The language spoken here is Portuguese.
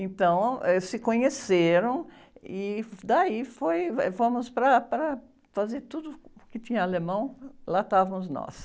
Então, eh, se conheceram e daí foi, eh, fomos para, para fazer tudo que tinha alemão, lá estávamos nós.